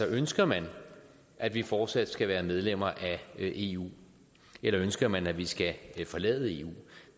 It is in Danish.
ønsker man at vi fortsat skal være medlem af eu eller ønsker man at vi skal forlade eu